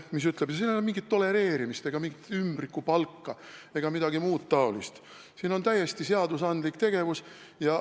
Ei ole mingisugust tolereerimist, mingit ümbrikupalka ega midagi muud taolist, on täiesti seaduslik tegevus.